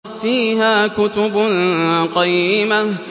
فِيهَا كُتُبٌ قَيِّمَةٌ